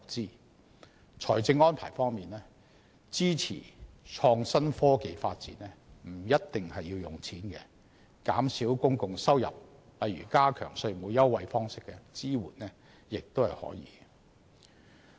在財政安排方面，支持創科發展不一定要用錢，減少公共收入如以加強稅務優惠的方式提供支援亦可。